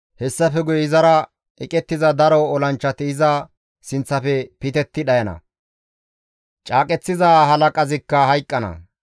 Hessafe guye izara eqettiza daro olanchchati iza sinththafe pitetti dhayana; caaqeththiza halaqazikka hayqqana.